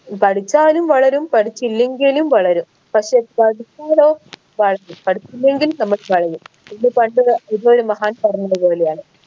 പഠിച്ചാലും വളരും പഠിച്ചില്ലെങ്കിലും വളരും പക്ഷെ പഠിച്ചാലോ പഠിച്ചില്ലെങ്കിൽ നമ്മൾ വളയും ഇത് പണ്ട് ഒരു ഇതൊരു മഹാൻ പറഞ്ഞത് പോലെയാണ്